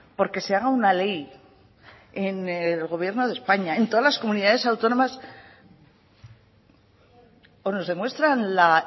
porque se haga una ley en el gobierno de españa en todas las comunidades autónomas o nos demuestran la